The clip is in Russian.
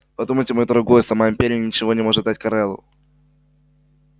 подумайте мой дорогой сама империя ничего не может дать корелу